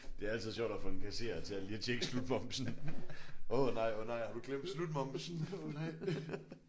Det er altid sjovt at få en kasserer til at lige at tjekke slutmomsen åh nej åh nej har du glemt slutmomsen ih nej